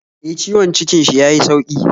E, ciwon cikin shi ya yi sauki.